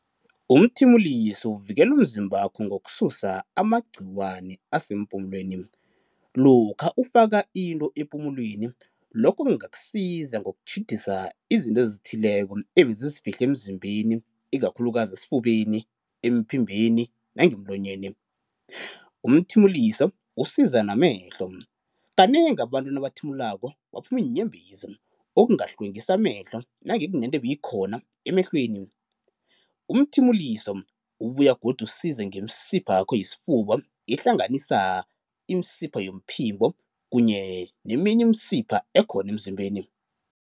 Umthimuliso uvikela umzimbakho ngokususa amagciwani asempumulweni, lokha ufaka into epumulweni, lokho kungakusiza ngokutjhidisa izinto ezithileko ebezizifihle emzimbeni ikakhulukazi esifubeni, emphimbeni nangemlonyeni. Umthimuliso usiza namehlo, kanengi abantu nabathimulako baphuma iinyembezi okungahlwengisa amehlo nange kunento ebeyikhona emehlweni. Umthimuliso ubuya godu usize ngemisipha yakho yesifuba, ehlanganisa imisipha yomphimbo kunye neminye imisipha ekhona emzimbeni.